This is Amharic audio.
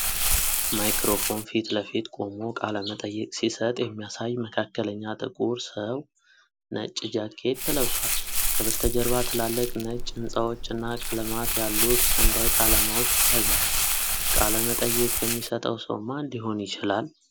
ማይክሮፎን ፊት ለፊት ቆሞ ቃለ መጠይቅ ሲሰጥ የሚያሳይ መካከለኛ ጥቁር ሰው፣ ነጭ ጃኬት ለብሷል። ከበስተጀርባ ትላልቅ ነጭ ሕንፃዎች እና ቀለማት ያሉት ሰንደቅ ዓላማዎች ይታያሉ። ቃለ መጠይቅ የሚሰጠው ሰው ማን ሊሆን ይችላል?